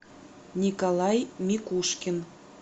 николай микушкин